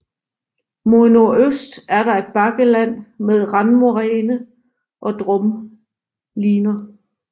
Mod nordøst er der et bakkeland med randmoræne og drumliner